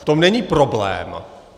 V tom není problém.